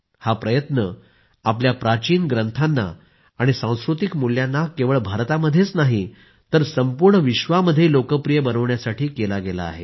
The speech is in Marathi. हा प्रयत्न आपल्या प्राचीन ग्रंथांना आणि सांस्कृतिक मूल्यांना केवळ भारतामध्येच नाही तर संपूर्ण विश्वामध्ये लोकप्रिय बनविण्यासाठी केला गेला आहे